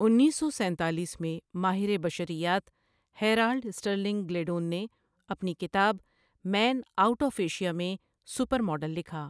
انیس سو سینتالیس میں ماہر بشریات ہیرالڈ سٹرلنگ گلیڈون نے اپنی کتاب مین آؤٹ آف ایشیا میں 'سپر ماڈل' لکھا۔